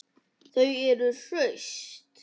Þau eru hraust